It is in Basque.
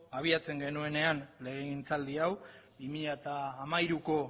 abiatzen genuenean legegintzaldi hau bi mila hamairuko